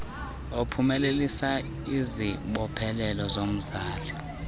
ophumelelisa izibophelelo zomzali